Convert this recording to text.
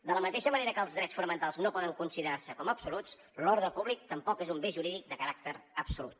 de la mateixa manera que els drets fonamentals no poden considerar se com a absoluts l’ordre públic tampoc és un bé jurídic de caràcter absolut